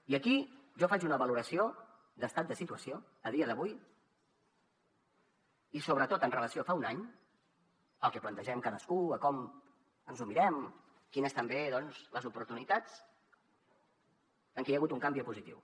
i aquí jo faig una valoració d’estat de situació a dia d’avui i sobretot amb relació a fa un any el que plantegem cadascú com ens ho mirem quines són també les oportunitats en què hi ha hagut un canvi a positiu